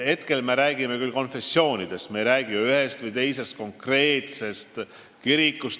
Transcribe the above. Hetkel me räägime küll konfessioonidest, me ei räägi ühest või teisest konkreetsest kirikust.